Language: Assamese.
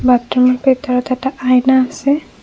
বাথৰুমৰ ভিতৰত এটা আইনা আছে।